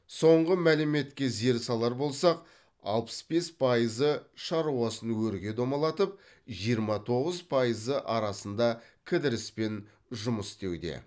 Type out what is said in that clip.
соңғы мәліметке зер салар болсақ алпыс бес пайызы шаруасын өрге домалатып жиырма тоғыз пайызы арасында кідіріспен жұмыс істеуде